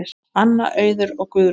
Anna, Auður og Guðrún.